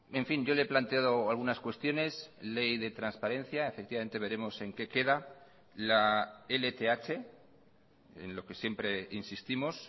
en fin yo le he planteado algunas cuestiones ley de transparencia efectivamente veremos en qué queda la lth en lo que siempre insistimos